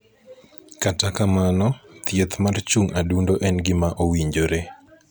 Kata kamano, thieth mar chung' adundo en gima owinjore.